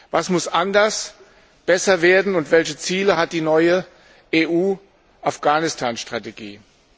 Was muss anders, besser werden und welche Ziele hat die neue EU Afghanistan Strategie?